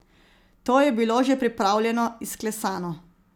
To je bilo že pripravljeno, izklesano ...